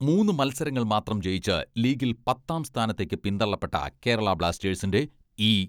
മൂന്ന് മത്സരങ്ങൾ മാത്രം ജയിച്ച് ലീഗിൽ പത്താം സ്ഥാനത്തേക്ക് പിന്തള്ളപ്പെട്ട കേരള ബ്ലാസ്റ്റേഴ്സിന്റെ ഈ